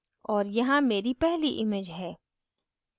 और यहाँ मेरी पहली image है